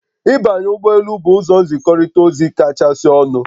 Ịbanye ụgbọ elu bụ ụzọ nzikọrịta ozi kachasị ọnụ